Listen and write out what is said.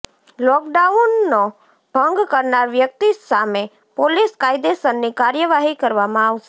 લોકડાઉનનો ભંગ કરનાર વ્યક્તિ સામે પોલીસ કાયદેસરની કાર્યવાહી કરવામાં આવશે